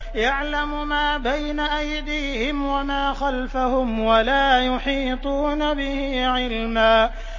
يَعْلَمُ مَا بَيْنَ أَيْدِيهِمْ وَمَا خَلْفَهُمْ وَلَا يُحِيطُونَ بِهِ عِلْمًا